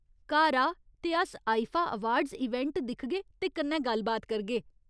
घर आ ते अस आईफा अवार्ड्स इवेंट दिखगे ते कन्नै गल्ल बात करगे।